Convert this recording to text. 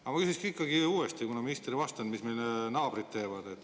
Aga ma küsin ikkagi uuesti, kuna minister ei vastanud, et mida teevad meie naabrid.